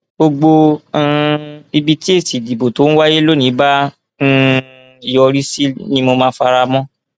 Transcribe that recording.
gbogbo um ibi tí èsì ìdìbò tó ń wáyé lónìí bá um yọrí sí ni mo máa fara mọ